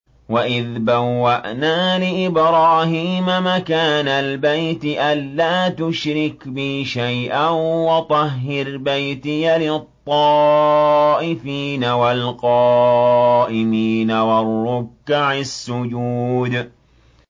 وَإِذْ بَوَّأْنَا لِإِبْرَاهِيمَ مَكَانَ الْبَيْتِ أَن لَّا تُشْرِكْ بِي شَيْئًا وَطَهِّرْ بَيْتِيَ لِلطَّائِفِينَ وَالْقَائِمِينَ وَالرُّكَّعِ السُّجُودِ